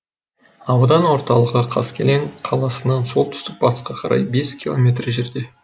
аудан орталығы қаскелең қаласынан солтүстік батысқа қарай бес километр жерде